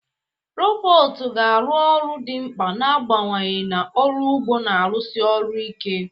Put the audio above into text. Robotu ga-arụ ọrụ dị mkpa na-abawanye na ọrụ ugbo na-arụsi ọrụ ike.